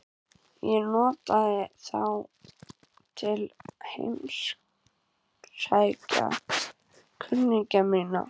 Ég notaði þá til að heimsækja kunningja mína.